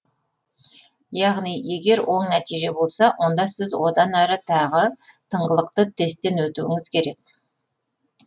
яғни егер оң нәтиже болса онда сіз одан әрі тағы тыңғылықты тесттен өтуіңіз керек